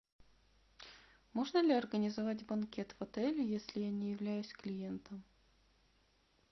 можно ли организовать банкет в отеле если я не являюсь клиентом